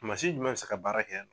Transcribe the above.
Mansin jumɛn bɛ se ka baara kɛ yan